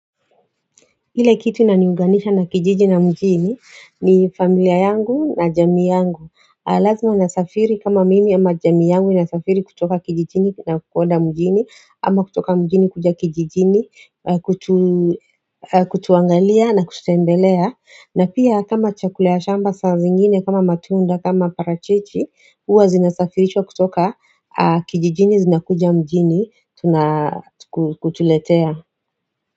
Ile kitu inaniuganisha na kijiji na mjini ni familia yangu na jamii yangu Lazima nasafiri kama mimi ama jamii yangu inasafiri kutoka kijijini na kukoda mjini ama kutoka mjini kuja kijijini kutuangalia na kututembelea na pia kama chakula ya shamba saa zingine kama matunda kama parachichi huwa zinasafirishwa kutoka kijijini zinakuja mjini kutuletea.